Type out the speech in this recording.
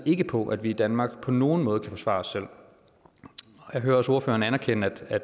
ikke på at vi i danmark på nogen måde kan forsvare os selv jeg hører også ordføreren anerkende at